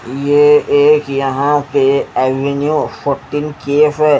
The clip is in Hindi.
ये एक यहां पे एविन्यू फोटिन केफे --